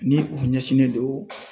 Ni u ɲɛsinnen don